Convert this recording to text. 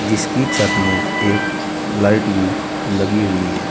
जिसकी छत में एक लाइट भी लगी हुई है।